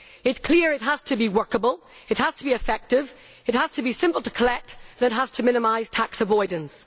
It is clear that it has to be workable, it has to be effective, it has to be simple to collect and it has to minimise tax avoidance.